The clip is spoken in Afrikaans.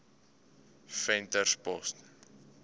venterspost